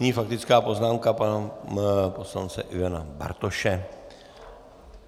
Nyní faktická poznámka pana poslance Ivana Bartoše.